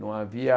Não havia...